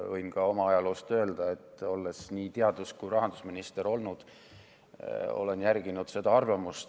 Võin ka oma ajaloost öelda, olles olnud nii teadus- kui ka rahandusminister, et olen seda arvamust järginud.